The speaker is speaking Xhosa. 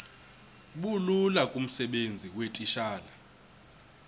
bulula kumsebenzi weetitshala